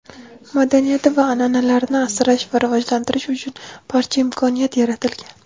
madaniyati va an’analarini asrash va rivojlantirish uchun barcha imkoniyat yaratilgan.